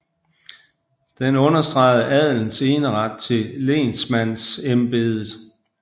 Den understregede adelens eneret til lensmandsembedet